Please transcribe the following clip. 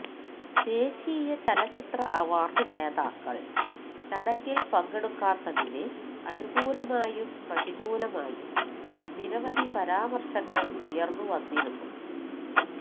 ദേശീയ ചലച്ചിത്ര അവാര്ഡ് ജേതാക്കള് ചടങ്ങില് പങ്കെടുക്കാത്തതിന് അനുകൂലമായും പ്രതികൂലമായും നിരവധി പരാമര്ശങ്ങള് ഉയര്ന്നു വന്നിരുന്നു